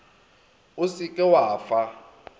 o se ke wa fa